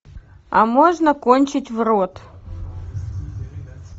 а можно кончить в рот